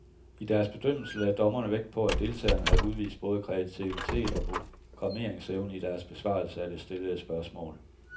I deres bedømmelse lagde dommerne vægt på, at deltagerne havde udvist både kreativitet og programmeringsevne i deres besvarelser af det stillede spørgsmål.